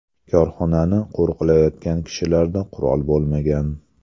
Korxonani qo‘riqlayotgan kishilarda qurol bo‘lmagan.